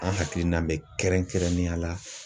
An hakilina bɛ kɛrɛnkɛrɛnnenya la